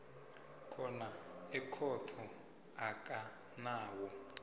khona ekhotho enganawo